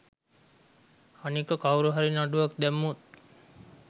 අනික කවුරු හරි නඩුවක් දැම්මොත්